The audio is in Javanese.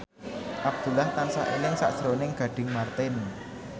Abdullah tansah eling sakjroning Gading Marten